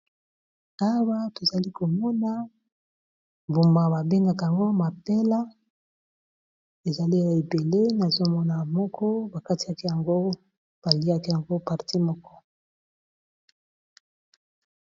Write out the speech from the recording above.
Awa tozali komona mbuma ba bengaka yango mapela ,ezali ya ebele nazomona moko bakatikati yango baliaki yango parti moko.